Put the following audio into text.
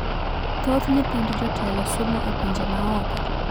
Thoth nyithind jotelo somo e pinje ma oko